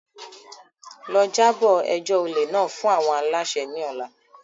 Lọ, jabo ẹjọ ole náà fun awọn alaṣẹ ni ọla!